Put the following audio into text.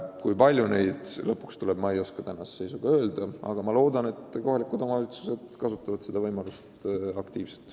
Kui palju neid lõpuks tuleb, ma ei oska öelda, aga loodan, et kohalikud omavalitsused kasutavad seda võimalust aktiivselt.